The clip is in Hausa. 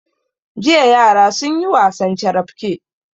Jiya yara sun yi wasan carafke.